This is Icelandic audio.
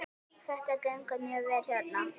Þetta gengur mjög vel hérna.